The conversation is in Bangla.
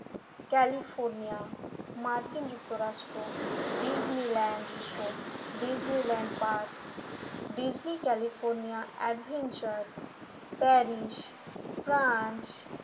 ক্যালিফোর্নিয়া মার্কিন যুক্তরাষ্ট্র Disneyland resort Disneyland park Disney California adventure Paris France